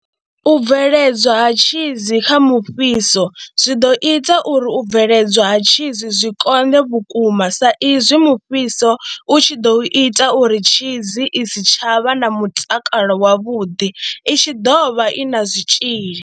U bveledzwa ha tshizi kha mufhiso zwi ḓo ita uri u bveledzwa ha tshizi zwi konḓe vhukuma sa izwi mufhiso u tshi ḓo ita uri tshizi i si tsha vha na mutakalo wavhuḓi, i tshi ḓov ha i na zwitzhili.